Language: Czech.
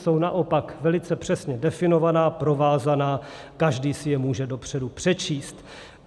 Jsou naopak velice přesně definovaná, provázaná, každý si je může dopředu přečíst.